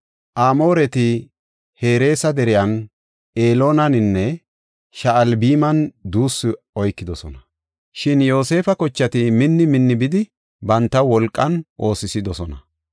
Amooreti Hereesa deriyan, Eloonaninne Sha7albiman duussu oykidosona; shin Yoosefa kochati minni minni bidi bantaw wolqan oosisidosona.